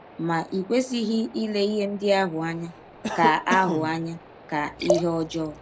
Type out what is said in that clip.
Ma i kwesịghị ile ihe ndị ahụ anya ka ahụ anya ka ihe ọjọọ.